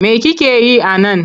Me kike yi a nan?